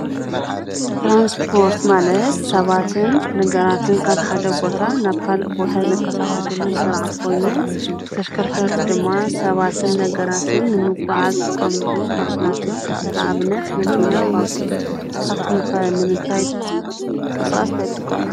ትራንስፖርት ማለት ሰባትን ነገራትን ካብ ሓደ ቦታ ናብ ካልእ ቦታ ዝንቀሳቐሱሉ ስርዓት ኾይኑ ተሽከርከርቲ ድማ ሰባትን ነገራትን ንምጉዕዓዝ ዝጥቀምሉ ማሽናት እዮም፡፡ ንኣብነት መኪና፣ ባቡር ስኻትኩም ከ ንምንታይ ንምንቅስቓስ እንታይ ትጥቀሙ?